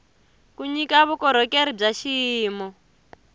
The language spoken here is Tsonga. ku nyika vukorhokeri bya xiyimo